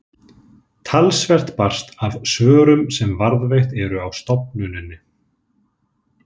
Talsvert barst af svörum sem varðveitt eru á stofnuninni.